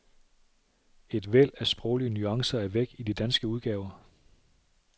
Et væld af sproglige nuancer er væk i de danske udgaver.